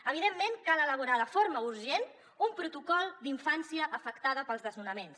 evidentment cal elaborar de forma urgent un protocol d’infància afectada pels desnonaments